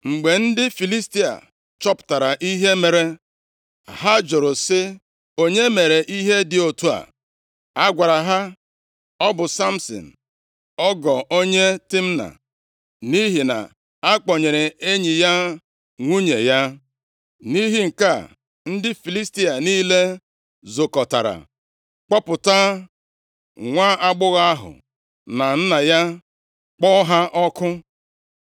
Mgbe ndị Filistia chọpụtara ihe mere, ha jụrụ sị, “Onye mere ihe dị otu a?” A gwara ha, “Ọ bụ Samsin ọgọ onye Timna, nʼihi na a kpọnyere enyi ya nwunye ya.” Nʼihi nke a, ndị Filistia niile zukọtara kpọpụta nwaagbọghọ ahụ na nna ya kpọọ ha ọkụ.